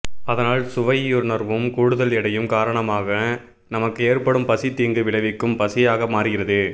அதனால் சுவையுணர்வும் கூடுதல் எடையும் காரணமாக நமக்கு ஏற்படும் பசி தீங்கு விளைவிக்கும் பசியாக மாறுகிறது